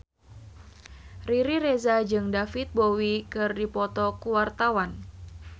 Riri Reza jeung David Bowie keur dipoto ku wartawan